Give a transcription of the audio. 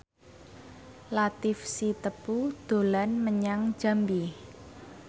Latief Sitepu dolan menyang Jambi